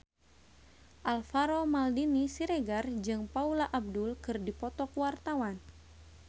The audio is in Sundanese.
Alvaro Maldini Siregar jeung Paula Abdul keur dipoto ku wartawan